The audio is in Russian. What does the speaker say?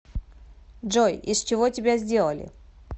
джой из чего тебя сделали